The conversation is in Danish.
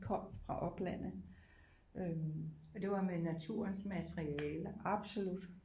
Kom fra oplandet øh det var med naturens materialer absolut